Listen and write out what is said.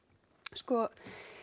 sko